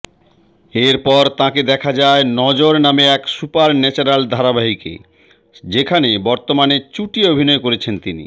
এরপর তাঁকে দেখা যায় নজর নামে এক সুপারন্যাচরাল ধারাবাহিকে যেখানে বর্তমানে চুটিয়ে অভিনয় করছেন তিনি